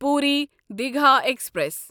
Puri Digha express